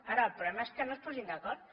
ara el problema és que no es posin d’acord